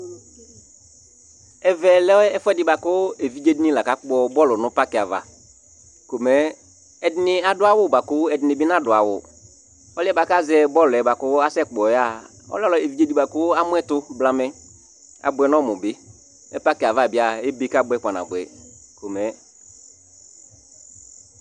Ɛvɛlɛ ɛfʋɛɖi bʋakʋ evidze ɖi ni la kakpɔ bɔlʋ ŋu parki ava Ɛɖìní aɖu awu bʋakʋ ɛɖìní bi naɖu awu Ɔliɛ kʋ azɛ bʋakʋ asɛkpɔ yaha Ɔlɛ evidze ɖi kʋ amuɛtu blamɛ Abʋɛ ŋu ɔmu bi Mɛ parki ava bi a ebe kabʋɛ kpa nabʋɛ !